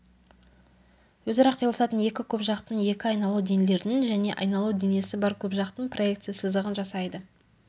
өзара қиылысатын екі көпжақтың екі айналу денелердің және айналу денесі бар көпжақтың проекция сызығын жасайды